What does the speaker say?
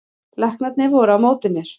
Læknarnir voru á móti mér